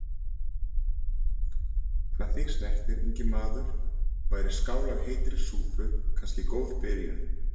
Hvað þig snertir, ungi maður, væri skál af heitri súpu kannski góð byrjun.